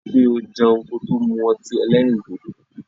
Rí i pé o jẹun kò tó mu ọtí èlérìndodo.